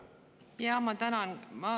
Jaa, ma tänan!